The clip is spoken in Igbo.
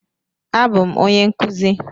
A bụ m onye nkụzi